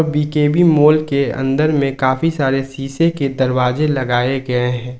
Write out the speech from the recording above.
BKB mall के अंदर में काफी सारे शीशे के दरवाजे लगाए गए हैं।